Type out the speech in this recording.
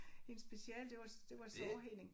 Hendes speciale det var det var sårheling